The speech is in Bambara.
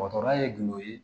Dɔgɔtɔrɔya ye gindo ye